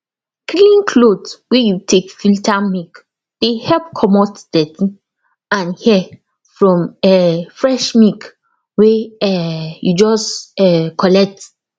clean cloth wey you take filter milk dey help comot dirty and hair from um fresh milk wey um you just um collect